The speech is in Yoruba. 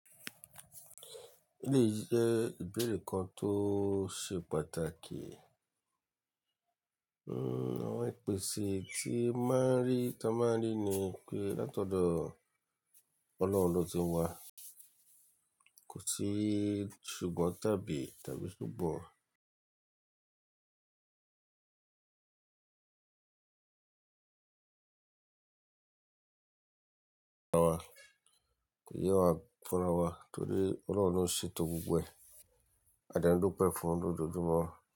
Eleyi jẹ́ ìbéèrè kan tó ṣe pàtàkì. Hmm, àwọn ìpèsè tí máa ń rí, tí a máa ń rí ni pé látọ̀dọ̀ Ọlọ́run ló ti wá. Kò sí ṣùgbọ́n tàbí tàbí súgbọ́n. Kò yẹ wá fún rawa torí Ọlọ́run lo n ṣetọ́ gbogbo ẹ̀. A dẹ́ n dupẹ̀ fún un lójoojúmọ́